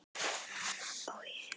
Ó je.